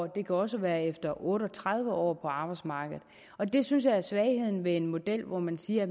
det kan også være efter otte og tredive år på arbejdsmarkedet og det synes jeg er svagheden ved en model hvor man siger at